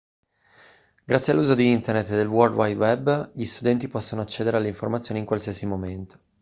grazie all'uso di internet e del world wide web gli studenti possono accedere alle informazioni in qualsiasi momento